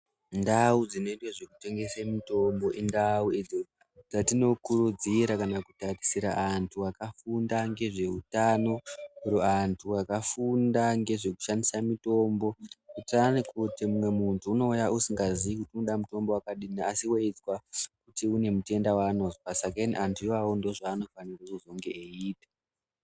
Ndau dzinoitwe zvekutengese mitombo indau idzo dzatinokurudzira kana kutarisira antu akafunda ngezveutano oro antu akafunda ngezvekushandisa mitombo. Kuitirani kuti mumwe muntu unouya usingazii kuti unoda mutombo wakadini asi weizwa kuti unemutenda waanozwa. Sakeni antu iwawo ndoozvaanofanirwa kuzenge eiita.